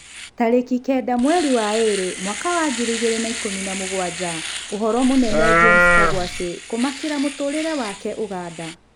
Tarĩki kenda mweri wa ĩrĩ mwaka wa ngiri igĩrĩ na ikũmi na mũgwanja, "Ũhoro mũnene James kagwacĩ 'kũmakĩra mũtũrĩre wake Uganda"